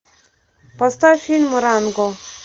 поставь фильм ранго